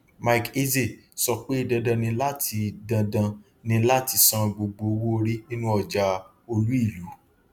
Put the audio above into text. mike eze sọ pé dandan ni láti dandan ni láti san gbogbo owóorí nínú ọjà olúìlú